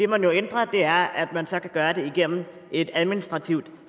man jo ændrer er at man så kan gøre det igennem et administrativt